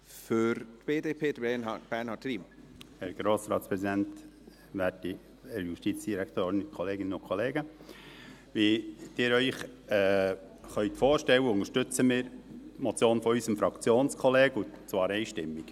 Wie Sie sich vorstellen können, unterstützen wir die Motion unseres Fraktionskollegen, und zwar einstimmig.